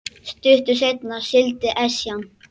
Stuttu seinna sigldi Esjan